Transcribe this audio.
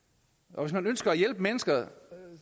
og hvis man ønsker at hjælpe mennesker